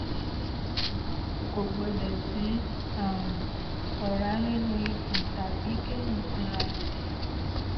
kò gbọ́dọ̀ sí um ọ̀rá nínú ikùn tàbí kéèyàn sanra yọ̀kọ̀tọ̀